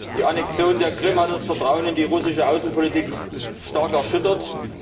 Die Annexion der Krim hat das Vertrauen in die russische Außenpolitik stark erschüttert.